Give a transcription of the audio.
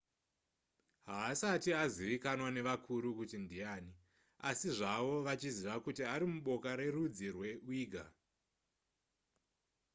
haasati azivikanwa nevakuru kuti ndiyani asi zvavo vachiziva kuti ari muboka rerudzi rweuighur